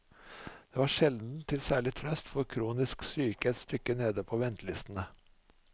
Det var sjelden til særlig trøst for kronisk syke et stykke nede på ventelistene.